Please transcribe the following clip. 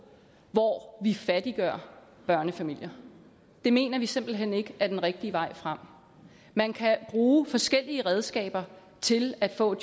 hvor vi fattiggør børnefamilier det mener vi simpelt hen ikke er den rigtige vej frem man kan bruge forskellige redskaber til at få